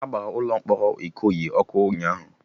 Agbara ụlọ mkpọrọ Ikoyi ọkụ ụnyaahụ